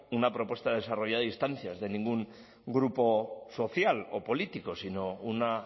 una propuesta desarrollada a instancias de ningún grupo social o político sino una